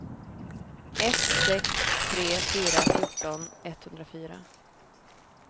ett sex tre fyra fjorton etthundrafyra